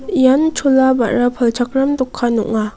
ian chola ba·ra palchakram dokan ong·a.